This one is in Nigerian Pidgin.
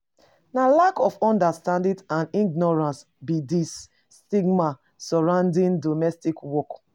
Na lack of understanding and ignorance be di stigma surrounding domestic work.